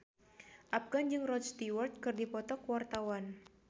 Afgan jeung Rod Stewart keur dipoto ku wartawan